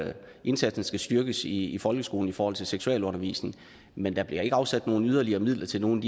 indsatsen skal styrkes i folkeskolen i forhold til seksualundervisningen men der bliver ikke afsat yderligere midler til nogle